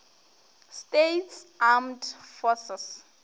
states armed forces